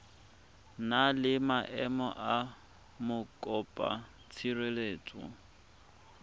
na le maemo a mokopatshireletso